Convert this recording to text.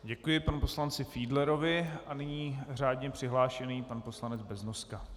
Děkuji panu poslanci Fiedlerovi a nyní řádně přihlášený pan poslanec Beznoska.